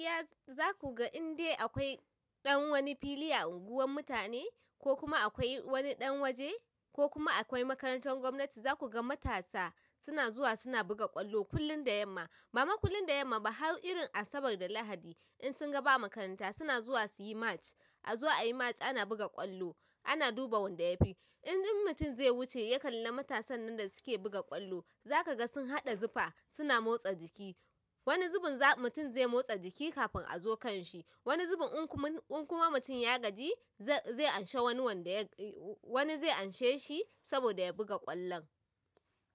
Yes, za ku ga inde akwai ɗan wani fili a unguwar mutane ko kuma akwai wani ɗan waje ko kuma akwai makarantar gwamnati, za ku ga matasa suna zuwa suna buga ƙwallo kullum da yamma. Bafa kullum da yamma ba, har irin Asabar da Lahadi in sunga ba makaranta suna zuwa irin suyi match azo ayi match ana buga ƙwallo, ana duba wanda ya fi. In mutum zai wuce ya kalla matasan nan da suke buga ƙwallo, za kaga sun haɗa zufa suna motsa jiki. A zuwa a yi match ana buga ƙwallo, ana duba wanda ya fi. Wani zubin in kuma mutum ya gaji, zai zai anshe wani wanda ya wani zai anshe shi saboda ya buga ƙwallon.